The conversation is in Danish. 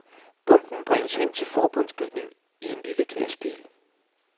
Bomben bringes hen til forbundsbygningen i en lille lastbil.